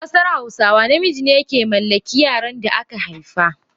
A kasar hausawa, namiji ne ke mallaki yaran da aka haifa.